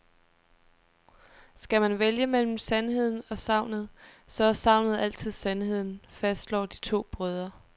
Skal man vælge mellem sandheden og sagnet, så er sagnet altid sandheden, fastslår de to brødre.